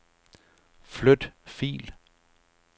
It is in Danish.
Flyt fil.